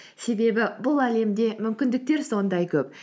себебі бұл әлемде мүмкіндіктер сондай көп